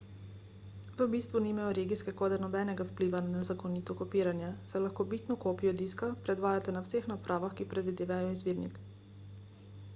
v bistvu nimajo regijske kode nobenega vpliva na nezakonito kopiranje saj lahko bitno kopijo diska predvajate na vseh napravah ki predvajajo izvirnik